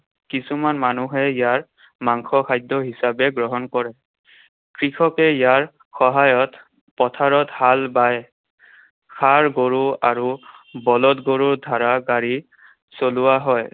কিছুমান মানুহে ইয়াৰ মাংস খাদ্য হিচাপে গ্ৰহণ কৰে। কৃষকে ইয়াৰ সহায়ত পথাৰত হাল বায়। ষাঁড় গৰু আৰু বলধ গৰু ধাৰা গাড়ী চলোৱা হয়।